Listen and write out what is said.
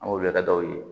An wulila daw ye